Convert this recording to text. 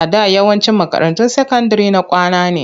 A da yawancin makarantun sakandire na kwana ne.